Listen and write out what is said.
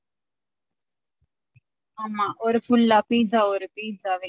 ஆமா ஒரு full லா pizza ஒரு pizza வே